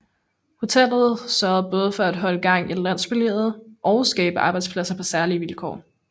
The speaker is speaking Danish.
Hotellet sørger både for at holde gang i landsbylivet og skabe arbejdspladser på særlige vilkår